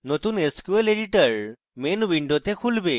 নতুন sql editor main window খুলবে